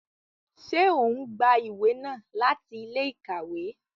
Ṣe o n gbà ìwé náà láti ilé-íkàwe?